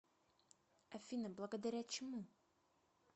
афина благодаря чему